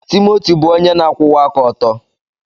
Timoti bụ onye na-akwụwa aka ọtọ.